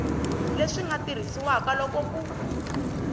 leswi nga tirhisiwaka loko ku